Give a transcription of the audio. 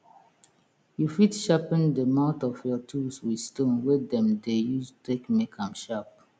you fit sharpen de mouth of your tools wit stone wey dem dey use take make am sharp